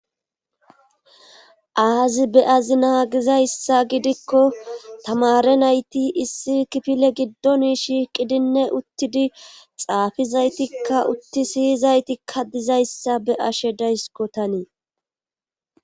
Azi be azi naagizayssa gidikko tamare nayti issi kipile giddoni shiiqidinne uttidi xaafizaytikka utti siyizaytikka dizayssa be ashe daysko tanii.